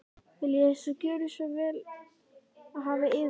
Viljið þér gjöra svo vel og hafa yður út.